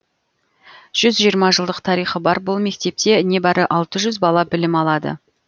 жүз жиырма жылдық тарихы бар бұл мектепте небәрі алты жүз бала білім алады